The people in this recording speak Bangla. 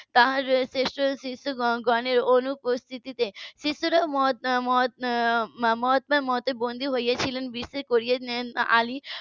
তার শ্রেষ্ঠ শিষ্য গণের অনুপস্থিতে শিষ্যরা . মহাত্মার মতের বন্দি হয়েছিলেন .